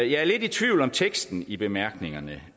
jeg er lidt i tvivl om teksten i bemærkningerne